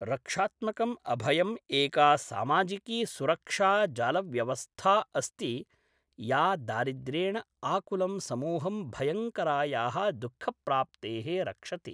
रक्षात्मकम् अभयम् एका सामाजिकी सुरक्षा जालव्यवस्था अस्ति या दारिद्र्येण आकुलं समूहं भयङ्करायाः दुःखप्राप्तेः रक्षति।